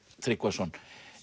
Tryggvason